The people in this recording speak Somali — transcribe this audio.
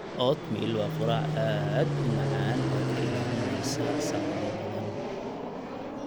Oatmeal waa quraac aad u macaan oo kaa ilaalinaysa saacado badan.